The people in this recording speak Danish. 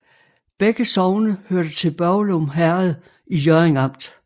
Begge sogne hørte til Børglum Herred i Hjørring Amt